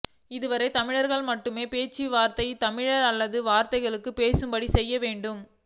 இதுவரை தமிழர்கள் நாம் மட்டுமே பேசி வந்ததை தமிழர்அல்லாத வர்களும் பேசும்படி செய்ய வேண்டும்